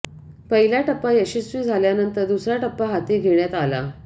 पहिला टप्पा यशस्वी झाल्यानंतर दुसरा टप्पा हाती घेण्यात आला